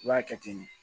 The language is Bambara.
I b'a kɛ ten de